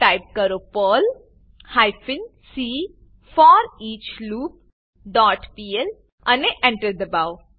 type કરો Perl hyphen c for each loop dot pl અને Enter દબાવો